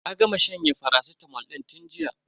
Ta gama shanyen faracitamol din tun jiya.